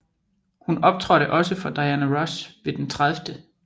Hun optrådte også for Diana Ross ved den 30